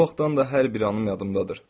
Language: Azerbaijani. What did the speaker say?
O vaxtdan da hər bir anım yadımdadır.